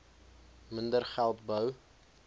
minder geld bou